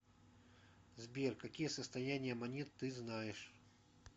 сбер какие состояние монет ты знаешь